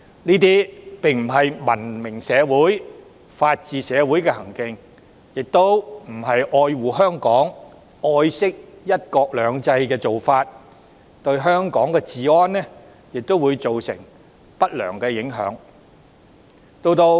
這些並非文明社會、法治社會的行徑，亦不是愛護香港、愛惜"一國兩制"的做法，對香港治安亦會造成不良影響。